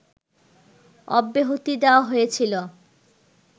অব্যাহতি দেওয়া হয়েছিল